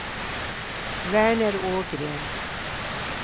Verner Ågren